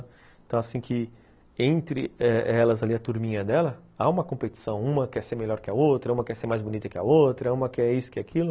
Então, assim que entre elas ali, a turminha dela, há uma competição, uma quer ser melhor que a outra, uma quer ser mais bonita que a outra, uma quer isso, quer aquilo.